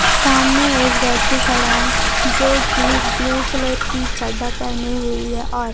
सामने एक व्यक्ति खड़ा है जोकि ब्लू कलर की चड्ढा पहने हुई है और--